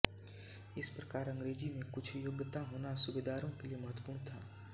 इस प्रकार अंग्रेजी में कुछ योग्यता होना सूबेदारों के लिए महत्वपूर्ण था